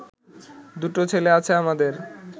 দুটো ছেলে আছে আমাদের